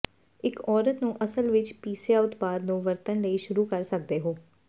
ਇੱਕ ਔਰਤ ਨੂੰ ਅਸਲ ਵਿੱਚ ਪੀਸਿਆ ਉਤਪਾਦ ਨੂੰ ਵਰਤਣ ਲਈ ਸ਼ੁਰੂ ਕਰ ਸਕਦੇ ਹੋ